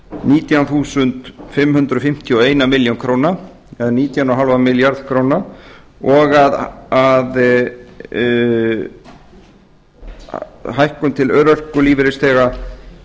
nítján þúsund fimm hundruð fimmtíu og einum mæli krónur eða nítján komma fimm milljarða króna og að hækkun til örorkulífeyrisþega